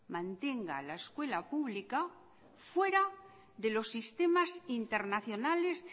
mantenga la escuela pública fuera de los sistemas internacionales